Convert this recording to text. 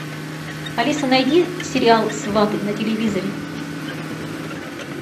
алиса найди сериал сваты на телевизоре